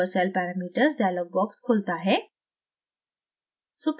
super cell parameters dialog box खुलता है